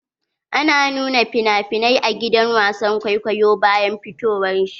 Ana nuna finafinai a gidan wasan kwaikwayo bayan fitowar shi.